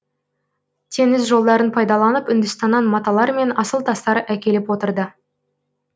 теңіз жолдарын пайдаланып үндістаннан маталар мен асыл тастар әкеліп отырды